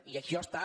i això està